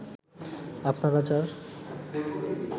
আপনারা যার